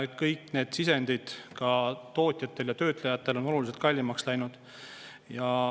Kõik sisendid, ka tootjatel ja töötlejatel, on oluliselt kallimaks läinud.